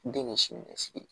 Den ye siniɲɛsigi ye